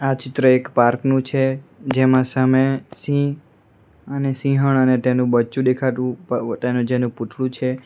ચિત્ર એક પાર્ક નું છે જેમાં સામે સિંહ અને સિંહણ અને તેનું બચ્ચું દેખાતું પ તેનું જેનું પુતળું છે.